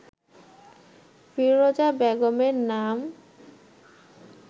ফিরোজা বেগমের নাম